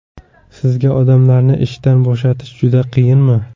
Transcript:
Sizga odamlarni ishdan bo‘shatish juda qiyinmi?